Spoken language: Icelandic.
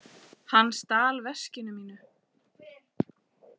Hann stal veskinu mínu.